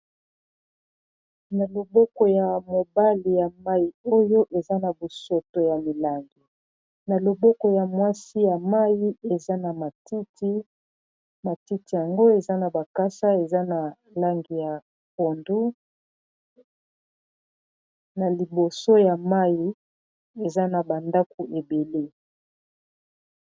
Na loboko ya mobali ya mayi oyo eza na bosoto ya milangi na loboko ya mwasi ya mayi eza na matiti matiti yango eza na bakasa eza na langi ya pondu na liboso ya mayi eza na ba ndaku ebele.